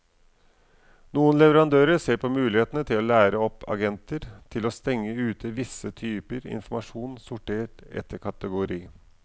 Noen leverandører ser på mulighetene til å lære opp agenter til å stenge ute visse typer informasjon sortert etter kategori.